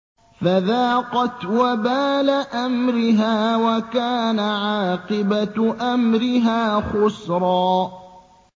فَذَاقَتْ وَبَالَ أَمْرِهَا وَكَانَ عَاقِبَةُ أَمْرِهَا خُسْرًا